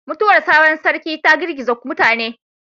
Mutuwar sabon Sarki ta girgiza mutane